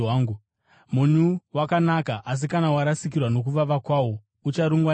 “Munyu wakanaka, asi kana warasikirwa nokuvava kwawo, ucharungwa neiko?